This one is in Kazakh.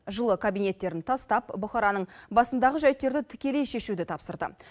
жылы кабинеттерін тастап бұқараның басындағы жайттерді тікелей шешуді тапсырды